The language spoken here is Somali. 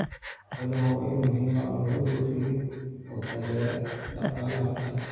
Xooluhu waa il muhiim ah oo laga dhoofiyo oo taageera dhaqaalaha qaranka.